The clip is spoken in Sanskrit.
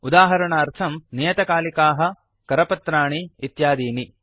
उदाहरणार्थम् नियतकालिकाः करपत्राणि इत्यादीनि